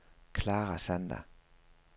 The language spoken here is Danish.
Clara Sander